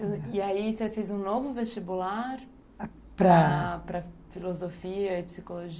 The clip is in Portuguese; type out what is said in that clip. E aí você fez um novo vestibular para para filosofia e psicologia?